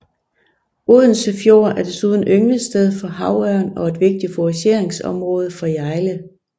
Odense Fjord er desuden ynglested for havørn og et vigtigt fourageringsområde for hjejle